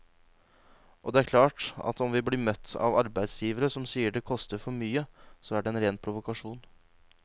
Og det er klart at om vi blir møtt av arbeidsgivere som sier det koster for mye, så er det en ren provokasjon.